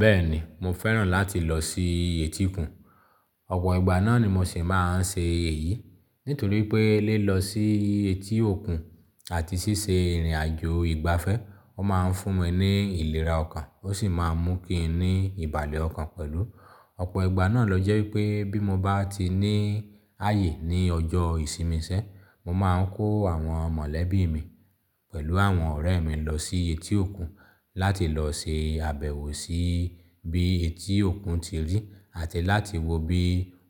Bẹ́ẹ̀ni mo fẹ́ràn láti lọ sí etí òkun. Ọ̀pọ̀ ìgbà náà ni mo ṣì máa ń ṣe èyí. Nítorí pé lílọ sí etí òkun àti ṣíṣe ìrìnàjò ìgbafẹ́, ó máa ń fún mi ní ìlera ọkàn ó sì máa ń mú kí n ní ìbàlẹ̀ ọkàn pẹ̀lú. Ọ̀pọ̀ ìgbà náà lọ jẹ́ wípé bí mo bá ti ní ààyè ní ọjọ́ ìsinmi iṣẹ́, mo máa ń kó àwọn mọ̀lẹ́bí mi pẹ̀lú àwọn ọ̀rẹ́ mi lọ sí etí òkun láti lọ ṣe àbẹ̀wò sí bí etí òkun ti rí àti láti wo bí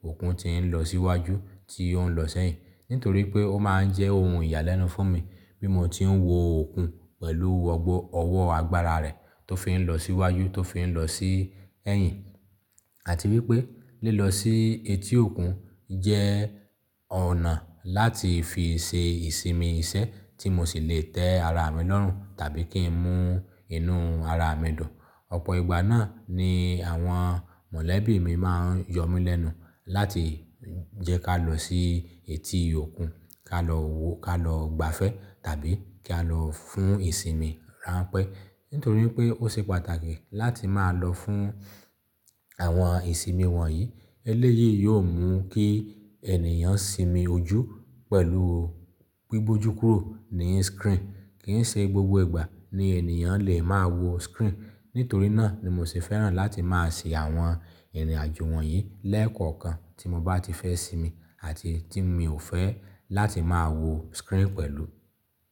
òkun ti ń lọ síwájú, tí ó ń lọ sẹ́yìn. Nítorí pé ó máa ń jẹ́ ohun ìyàlẹ́nu fún mi bí mo ti ń wo òkun pẹ̀lú ọwọ́ agbára rẹ̀ tó fi ń lọ síwájú, tó fi ń lọ sí ẹ́yìn. Àti wípé lílọ sí etí òkun jẹ́ ọ̀nà láti fi ṣe ìsinmi iṣẹ́ tí mo sì lè tẹ́ ara mi lọ́rùn tàbí kí n mú inú ara mi dùn. Ọ̀pọ̀ ìgbà náà ni àwọn mọ̀lẹ́bí mi máa ń yọ mí lẹ́nu láti jẹ́ ká lọ sí etí òkun, ká lọ gbafẹ́ tàbí kí a lọ fún ìsinmi ránpẹ́. Nítorí pé ó ṣe pàtàkì láti máa lọ fún àwọn ìsinmi wọ̀nyí. Eléyìí yóò mú kí ènìyàn sinmi ojú pẹ̀lú gbíbójúkúrù ní screen. Kì í ṣe gbogbo ìgbà ni ènìyàn lè máa wo screen. Nítorí náà ni mo sì fẹ́ràn láti máa ṣe àwọn ìrìnàjò wọ̀nyí lẹ́ẹ̀kọ̀kan tí mo bá ti fẹ́ sinmi àti tí mi o fẹ́ láti máa wo screen pẹ̀lú.